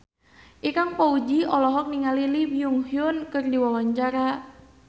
Ikang Fawzi olohok ningali Lee Byung Hun keur diwawancara